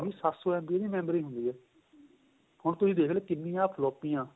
ਸੱਤ ਸ਼ੋ MBਇਹਦੀ memory ਹੁੰਦੀ ਏ ਹੁਣ ਤੁਸੀਂ ਦੇਖਲੋ ਕਿੰਨੀਆਂ ਫ੍ਲੋਪੀਆਂ